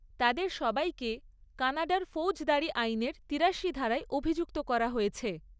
তাদের সবাইকে কানাডার ফৌজদারি আইনের তিরাশি ধারায় অভিযুক্ত করা হয়েছে।